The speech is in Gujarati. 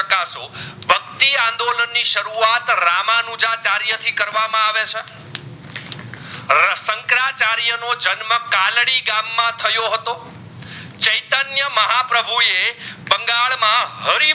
આ પ્રભુ એ બંગાળ માં હરી